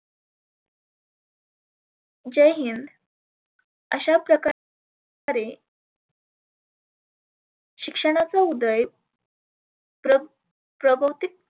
जय हिंद अशा प्रका रे शिक्षणाचा उदय प्र प्रबौतीक